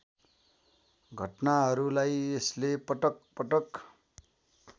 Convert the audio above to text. घटनाहरुलाई यसले पटकपटक